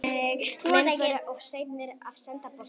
Menn voru of seinir að senda boltann.